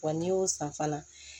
Wa n'i y'o san fana